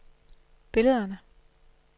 billederne